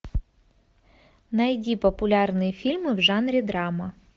найди популярные фильмы в жанре драма